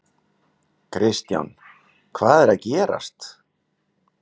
Kristján: Hvað er að gerast?